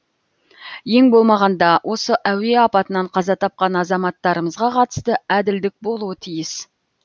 ең болмағанда осы әуе апатынан қаза тапқан азаматтарымызға қатысты әділдік болуы тиіс